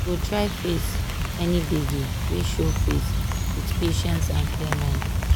go try face any gbege wey show face with patience and clear mind.